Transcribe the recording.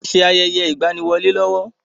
À ń ṣe ayẹyẹ ìgbaniwọlé lọ́wọ́.